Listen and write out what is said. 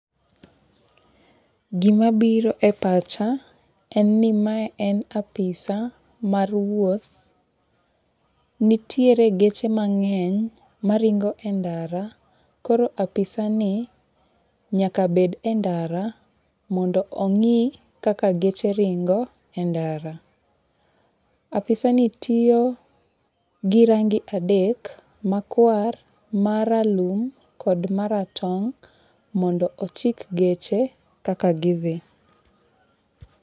Gima biro e pacha en ni mae en apisa mar wuoth. Nitiere geche mang'eny maringo e ndara koro apisani, nyaka bed e ndara mondo ong'i kaka geche ringo e ndara. Apisani tiyo gi rangi adek, makwar, maralum kod maratong' mondo ochik geche kaka gidhi.